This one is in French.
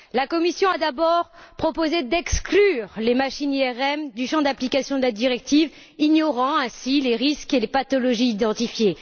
La Commission a d'abord proposé d'exclure les machines IRM du champ d'application de la directive, ignorant ainsi les risques et les pathologies identifiés.